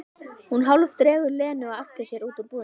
Hún hálfdregur Lenu á eftir sér út úr búðinni.